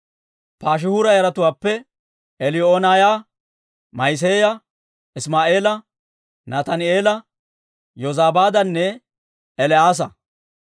Paashihuura yaratuwaappe Eliyoo'enaaya, Ma'iseeya, Isimaa'eela, Nataani'eela, Yozabaadanne El"aasa.